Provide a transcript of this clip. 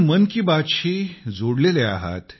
मन की बात शी जोडलेले राहिला आहात